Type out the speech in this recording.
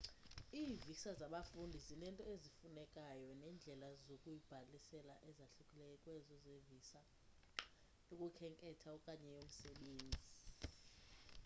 ii-visa zabafundi zinezinto ezifunekayo neendlela zokuyibhalisela ezahlukileyo kwezo zevisa yokukhenketha okanye yomsebenzi